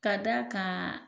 K'a d'a kaan